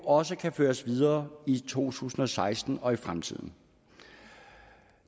også kan føres videre i to tusind og seksten og i fremtiden